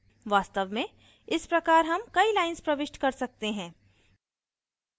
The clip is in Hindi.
वास्तव में इस प्रकार हम कई lines प्रविष्ट कर सकते हैं